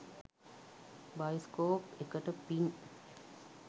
Bioscope එකට පින්.